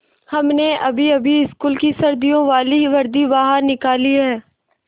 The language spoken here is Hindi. हमने अभीअभी स्कूल की सर्दियों वाली वर्दी बाहर निकाली है